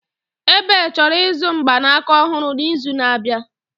Ebel chọrọ ịzụ mgbanaka ọhụrụ n'izu na-abịa.